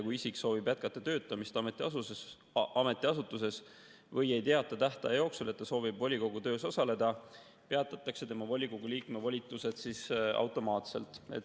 Kui isik soovib jätkata töötamist ametiasutuses või ei teata tähtaja jooksul, et ta soovib volikogu töös osaleda, peatatakse tema volikogu liikme volitused automaatselt.